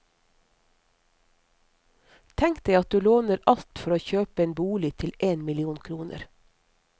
Tenk deg at du låner alt for å kjøpe en bolig til én million kroner.